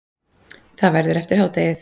Það verður eftir hádegið.